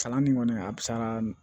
Kalan nin kɔni a sara